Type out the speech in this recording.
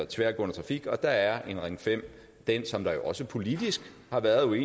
tværgående trafik og der er en ring fem det som der jo også politisk har været